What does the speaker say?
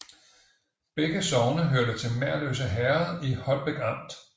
Begge sogne hørte til Merløse Herred i Holbæk Amt